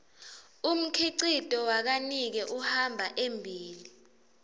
umkhicito wakanike uhamba embile